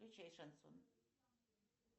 включай шансон